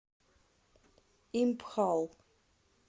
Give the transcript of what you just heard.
импхал